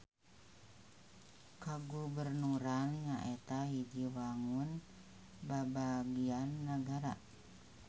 Kagubernuran nyaeta hiji wangun babagian nagara.